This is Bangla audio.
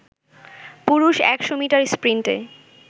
পুরুষ ১০০ মিটার স্প্রিন্টে